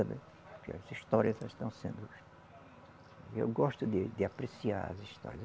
As histórias estão sendo. Eu gosto de de apreciar as histórias.